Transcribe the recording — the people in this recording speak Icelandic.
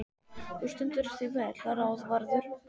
Þú stendur þig vel, Ráðvarður!